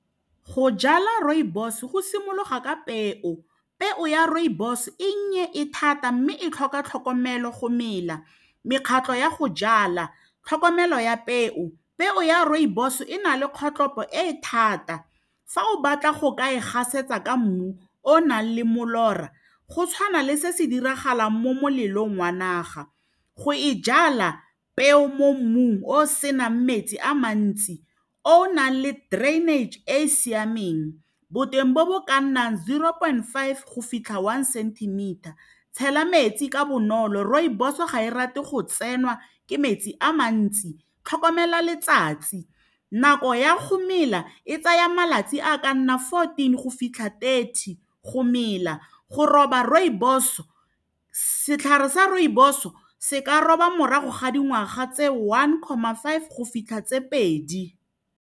Go jala rooibos go simologa ka peo, peo ya rooibos e nnye e thata mme e tlhoka tlhokomelo go mela mekgatlho ya go jala tlhokomelo ya peo peo ya rooibos e na le kgotlhopo e e thata fa o batla go ka e gasetsa ka mmu o nang le molora go tshwana le se se diragalang mo molelong wa naga go e jala peo mo mmung o senang metsi a mantsi o nang le drainage e e siameng boteng bo bo ka nnang zero point five go fitlha one centimeter tshela metsi ka bonolo rooibos ga e rate go tsenwa ke metsi a mantsi tlhokomela letsatsi nako ya go mela e tsaya malatsi a ka nna fourteen go fitlha thirty go mela go roba rooibos setlhare sa rooibos o se ka roba morago ga dingwaga tse one comma five go fitlha tse pedi.